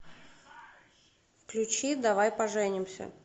включи давай поженимся